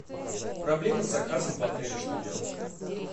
проблемы с заказом в отеле что делать